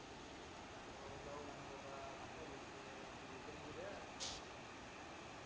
येतो ना उद्या